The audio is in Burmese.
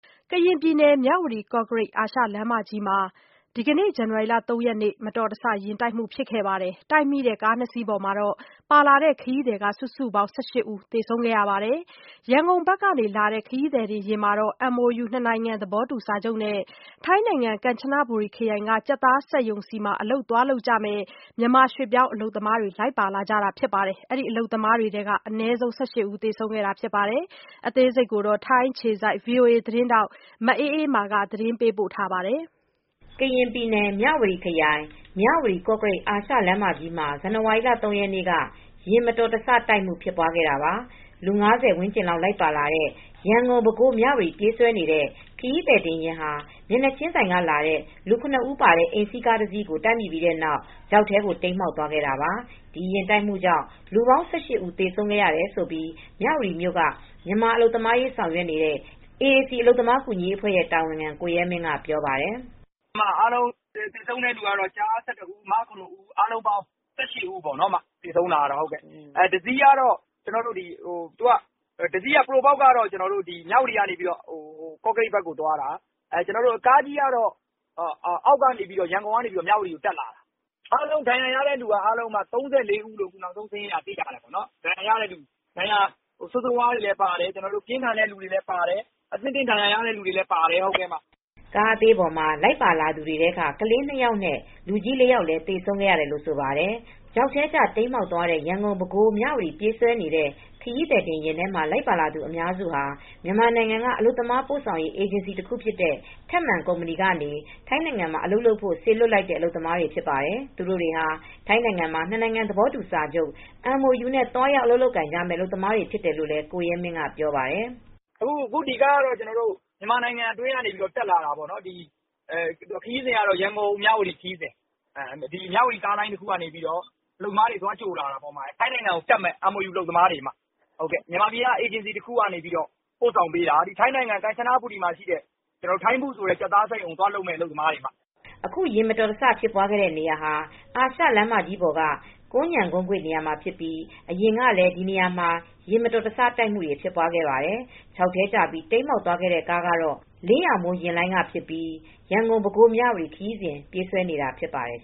ကရင်ပြည်နယ်၊ မြဝတီ - ကော့ကရိတ် အာရှလမ်းမကြီးမှာ ဇန်နဝါရီလ ၃ရက်နေ့က မတော်တဆယာဉ်တိုက်မူဖြစ်ပြီး ကားနှစ်စီးပေါ်က ခရီးသည် စုစုပေါင်း ၁၈ ဦးသေဆုံး ခဲ့ရပါတယ်။ ရန်ကုန်ဘက်က လာတဲ့ ခရီးသည်တင်ယာဉ်ပေါ်မှာတော့ MOU နှစ်နိုင်ငံ သဘောတူစာချုပ်နဲ့ ထိုင်းနိုင်ငံ ကမ်ချနဘူရီခရိုင်က ကြက်သားစက်ရုံကို သွားကြမယ့် မြန်မာ ရွှေ့ပြောင်းအလုပ်သမားတွေ လိုက်ပါလာတာ ဖြစ်ပါတယ်။ ဗွီအိုအေ သတင်းထောက် မအေးအေးမာက သတင်းပေးပို့ထားပါတယ်။ ကရင်ပြည်နယ်၊ မြဝတီခရိုင်၊ မြဝတီ- ကော့ကရိတ် အာရှလမ်းမကြီးမှာ ဇန်နဝါရီလ ၃ရက်နေ့က ယာဉ်မတော်တဆ တိုက်မူဖြစ်ပွားခဲ့တာပါ။ လူ ၅၀ ဝန်းကျင်လောက်လိုက်ပါလာတဲ့ ရန်ကုန်-ပဲခူး- မြဝတီ ပြေးဆွဲနေတဲ့ ခရီးသည်တင် ယာဉ်ဟာ မျက်နှာချင်းဆိုင်က လာတဲ့ လူ ၇ ဦးပါတဲ့ အိမ်စီးကားတစီးကို တိုက်မိပြီးတဲ့နောက်မှာ ချောက်ထဲကျ တိမ်းမှောက် သွားခဲ့ တာပါ။ ဒီယာဉ်တိုက်မှုကြောင့် လူပေါင်း ၁၈ ဦး သေဆုံးခဲ့ရတယ် လို့ မြဝတီမြို့ က မြန်မာအလုပ်သမား အရေး ဆောင်ရွက်နေတဲ့ AAC အလုပ်သမား ကူညီရေးအဖွဲ့ရဲ့တာဝန်ခံ ကိုရဲမင်း ကပြောပြပါတယ်။ “အားလုံးသေဆုံးခဲ့သူတွေက ကျား ၁၁ဦး ၊ မ ၇ ဦး ၊အားလုံးပေါင်း ၁၈ဦး သေဆုံးခဲ့ပါတယ်။ တစီးက Probox ကားကတော့ မြဝတီကနေ ကော့ကရိပ်ဘက်ကို သွာတာ။ ကားကြီးကတော့ ရန်ကုန်ကနေ မြဝတီကို တက်လာတာ။ ဒဏ်ရာရသူတွေ ကတော့ ၃၄ဦး လို့သိရပါတယ်။ ဒဏ်ရာပြင်းထန်တဲ့ သူတွေလည်းပါတယ်။ အခြေနေ ဆိုးဝါးတဲ့ သူတွေလည်းပါတယ်။ အသင့်အတင့် ဒဏ်ရာရသူတွေလည်း ပါတယ်” ကား အသေးပေါ် ပါလာသူတွေထဲက ကလေး ၂ ယောက်နဲ့ လူကြီး ၄ယောက် သေဆုံးခဲ့ရတယ် လို့လည်း ဆိုပါတယ်။ ချောက်ထဲကျ တိမ်းမှောက်သွားတဲ့ ရန်ကုန် ပဲခူး - မြဝတီ ပြေးဆွဲနေတဲ့ ခရီးသည်တင်ယာဉ် ထဲမှာ လိုက်ပါလာသူ အများစုဟာ မြန်မာနိုင်ငံက အလုပ်သမားပို့ဆောင်ရေး အေဂျင်စီတခုဖြစ်တဲ့ ထက်မာန် ကုမ္ပဏီကနေ ထိုင်းနိုင်ငံမှာ အလုပ်လုပ်ဖို့ စေလွှတ်လိုက်တဲ့ အလုပ်သမားတွေ ဖြစ်ပါတယ်။ သူတို့ဟာ ထိုင်းနိုင်ငံမှာ နှစ်နိုင်ငံသဘောတူစာချုပ် MOU နဲ့ သွားရောက် အလုပ်လုပ်ကိုင်ကြမယ့် အလုပ်သမားတွေဖြစ် တယ်လို့လည်း ကိုရဲမင်းက ပြေပါတယ်။ “ ဒီကားကတော့ မြန်မာနိုင်ငံတွင်းက တက်လာတာ။ ခရီးစဉ် ကတော့ ရန်ကုန်- မြဝတီခရီးစဥ ပါ။ မြဝတီကားလိုင်း တခုက နေ အလုပ်သမားတွေကို သွားကြိုလာတာ။ ထိုင်းနိုင်ငံကိုတက်မယ့် MOU အလုပ်သမားတွေဖြစ်တယ်။ မြန်မာနိုင်ငံက အေဂျင်စီတခုကနေ ပို့လာတာ။ ထိုင်းနိုင်ငံ ကမ်ချနဘူရီမှာ ရှိတဲ့ Thai Food ကြက်သားစက်ရုံကို သွားအလုပ် လုပ်မယ့် အလုပ်သမားတွေဖြစ်တယ်။” အခု ယာဉ်မတော်တဆဖြစ်ပွားတဲ့ နေရာဟာ အာရှလမ်းမကြီး ပေါ်က ကွမ်းခြံကုန်းကွေ့ နေရာမှာ ဖြစ်ပြီး၊ အရင်ကလည်း ဒီနေရာမှာ ယာဉ်မတော်တဆမူတွေ ဖြစ်ပွားခဲ့ ဖူးပါတယ်။ ချောက်ထဲကျ တိမ်းမှောက်သွား ခဲ့တဲ့ ကားကတော့ အလင်းရောင်မိုး ယာဉ်လိုင်းက ဖြစ်ပြီး ရန်ကုန်-ပဲခူး- မြဝတီ ခရီးစဉ် ပြေးဆွဲနေတာဖြစ်ပါတယ်